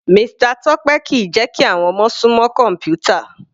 Mr Tope kìí jẹ́ kí àwọn ọmọ sún mọ́ kọ̀mpútà.